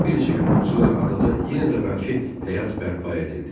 Bir neçə gündən sonra adada yenə də əvvəlki həyat bərpa edildi.